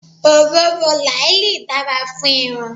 Òróró làálì dára fún irun.